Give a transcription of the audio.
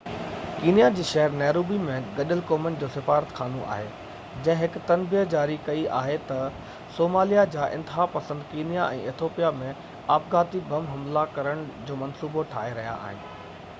Kenya جي شهر Nairobi ۾ گڏيل قومن جو سفارتخانو آهي جنهن هڪ تنبيهہ جاري ڪئي آهي تہ صاموليا جا انتها پسند ڪينيا ۽ ايٿوپيا ۾ آپگهاتي بم حملا ڪرڻ جو منصوبو ٺاهي رهيا آهن